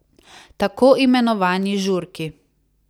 Tako imenovani žurki.